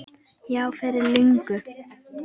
Já, fyrir löngu.